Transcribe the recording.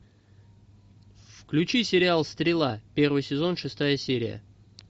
включи сериал стрела первый сезон шестая серия